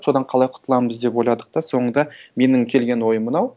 содан қалай құтыламыз деп ойладық та соңында менің келген ойым мынау